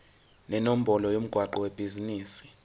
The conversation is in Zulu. nenombolo yomgwaqo webhizinisi